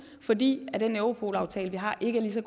fordi med den europolaftale vi har ikke er ligeså